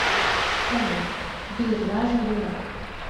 салют бир лажа юрак